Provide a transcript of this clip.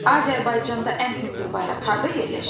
Azərbaycanda ən hündür bayraq harda yerləşir?